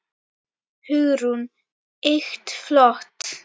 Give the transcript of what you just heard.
Hugrún: Ýkt flott.